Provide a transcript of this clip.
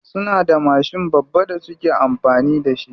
Suna da mashin babba da suke amfani da shi.